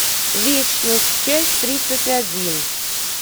вечность часть тридцать один